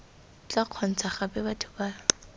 tla kgontsha gape batho ba